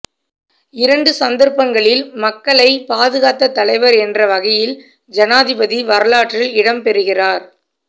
இரண்டு சந்தர்ப்பங்களில் மக்களை பாதுகாத்த தலைவர் என்ற வகையில் ஜனாதிபதி வரலாற்றில் இடம்பெறுகிறார்